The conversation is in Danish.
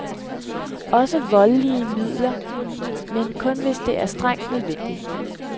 Også med voldelige midler, men kun hvis det er strengt nødvendigt.